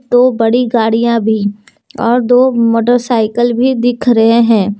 तो बड़ी गाड़ियां भी और दो मोटरसाइकिल भी दिख रहे हैं।